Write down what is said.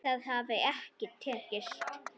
Það hafi ekki tekist.